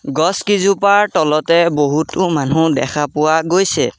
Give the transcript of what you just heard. গছকিজোপাৰ তলতে বহুতো মানুহ দেখা পোৱা গৈছে।